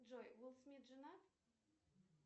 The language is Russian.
джой уилл смит женат